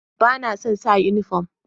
Ba na son sa uniform.